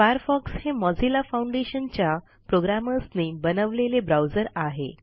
Firefox हे Mozilla foundation च्या प्रोग्रॅमर्सनी बनवलेले ब्राऊजर आहे